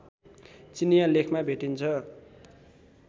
चिनियाँ लेखमा भेटिन्छ